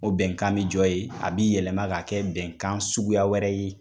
O bɛnkan bi jɔ ye a bi yɛlɛma ka kɛ bɛnkan suguya wɛrɛ ye